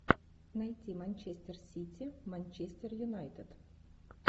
найти манчестер сити манчестер юнайтед